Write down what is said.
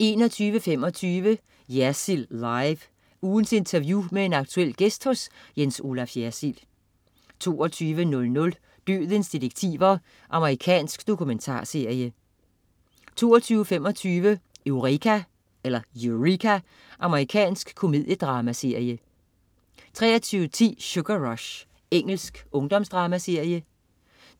21.25 Jersild Live. Ugens interview med en aktuel gæst hos Jens Olaf Jersild 22.00 Dødens detektiver. Amerikansk dokumentarserie 22.25 Eureka. Amerikansk komediedramaserie 23.10 Sugar Rush. Engelsk ungdomsdramaserie